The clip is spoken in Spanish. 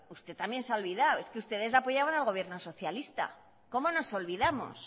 usted también se ha olvidado es que ustedes apoyaban al gobierno socialista cómo nos olvidamos